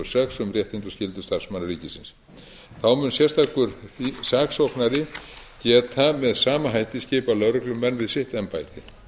um réttindi og skyldur starfsmanna ríkisins þá mun sérstakur saksóknari geta með sama hætti skipað lögreglumenn við sitt embætti